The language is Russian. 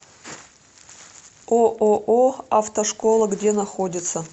ооо автошкола где находится